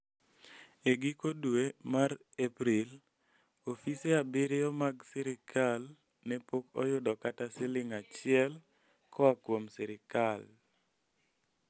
E giko dwe mar April, ofise abiriyo mag sirkal ne pok oyudo kata siling' achiel koa kuom sirkal.